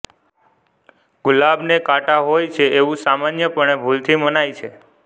ગુલાબને કાંટા હોય છે એવું સામાન્યપણે ભૂલથી મનાય છે